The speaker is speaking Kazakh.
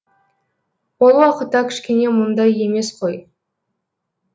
ол уақытта кішкене мұндай емес қой